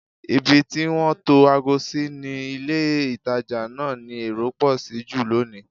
Ibi tí wọ́n tó ago sí ní ilé-ìtàjà náà ni èrò pọ̀ sí jù lónìí